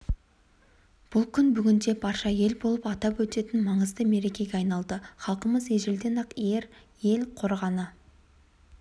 бұл күн бүгінде барша ел болып атап өтетін маңызды мерекеге айналды халқымыз ежелден-ақ ер ел қорғаны